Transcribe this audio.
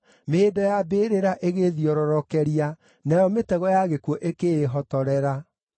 Mĩhĩndo ya mbĩrĩra ĩgĩĩthiororokeria; nayo mĩtego ya gĩkuũ ĩkĩĩhotorera.